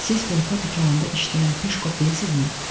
Siz Bulka dükanında işləyən Peşkov deyilmisiniz?